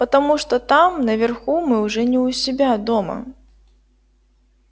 потому что там наверху мы уже не у себя дома